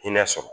Hinɛ sɔrɔ